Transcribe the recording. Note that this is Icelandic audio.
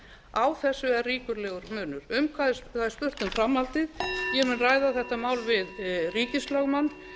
grundvallar á þessu er ríkulegur munur það er spurt um framhaldið ég mun ræða þetta mál við ríkislögmann